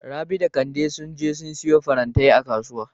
Rabi da Kande sun je su siyo farantai a Kasuwa.